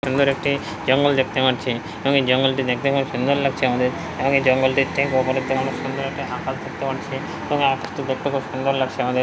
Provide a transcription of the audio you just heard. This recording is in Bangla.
সুন্দর একটি জঙ্গল দেখতে পারছি আমি জঙ্গল টি দেখতে খুব সুন্দর লাগছে আমাদের আমাদের জঙ্গল টি সুন্দর একটি আকাশ দেখতে পারছি এবং এই আকাশ টি দেখতে খুব সুন্দর লাগছে আমাদের।